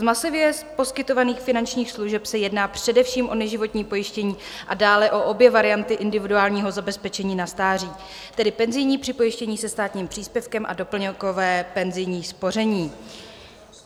Z masově poskytovaných finančních služeb se jedná především o neživotní pojištění a dále o obě varianty individuálního zabezpečení na stáří, tedy penzijní připojištění se stáním příspěvkem a doplňkové penzijní spoření.